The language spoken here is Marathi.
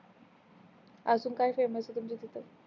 आजून काय फेमस आहे तुमच्या शेतात